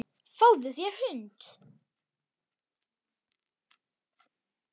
Fáðu þér hund.